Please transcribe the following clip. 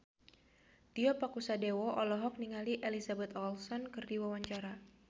Tio Pakusadewo olohok ningali Elizabeth Olsen keur diwawancara